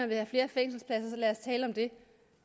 vil have flere fængselspladser så lad os tale om det